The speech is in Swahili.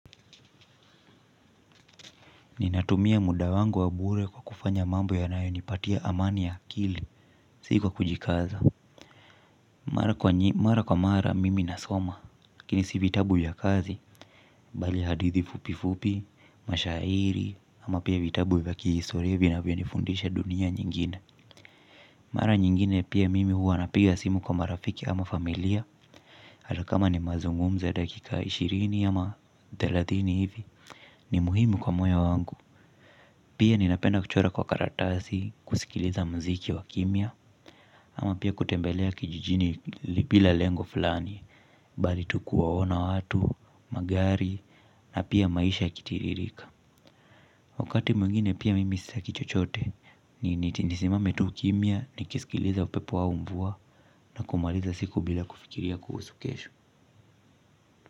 Ninatumia muda wangu wa bure kwa kufanya mambo yanayonipatia amani ya akili, sikuwa kujikaza. Mara kwa mara mimi nasoma, lakini si vitabu ya kazi bale hadithi fupi fupi, mashairi, ama pia vitabu va kihistoria vina vyo nifundisha dunia nyingine. Mara nyingine pia mimi huwa na piga simu kwa marafiki ama familia. Hata kama ni mazungumzo ya dakika ishirini ama delathini hivi, ni muhimu kwa moyo wangu. Pia ninapenda kuchora kwa karatasi, kusikiliza mziki wa kimia, ama pia kutembelea kijijini lipila lengo flani, bali tukuwaona watu, magari, na pia maisha yakitiririka. Wakati mwingine pia mimi sitaki chochote, ni eti nisimame tuu kimia, ni kisikiliza upepo wau mvuwa, na kumaliza siku bila kufikiria kuhusu kesho.